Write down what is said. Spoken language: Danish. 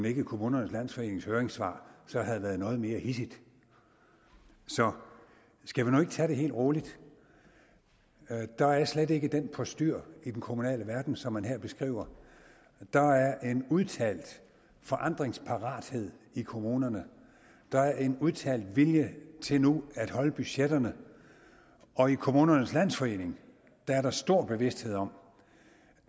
ikke kommunernes landsforening høringssvar havde været noget mere hidsigt så skal vi nu ikke tage det helt roligt der er slet ikke det postyr i den kommunale verden som man her beskriver der er en udtalt forandringsparathed i kommunerne der er en udtalt vilje til nu at holde budgetterne og i kommunernes landsforening er der stor bevidsthed om